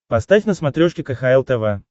поставь на смотрешке кхл тв